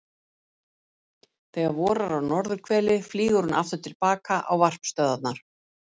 þegar vorar á norðurhveli flýgur hún aftur til baka á varpstöðvarnar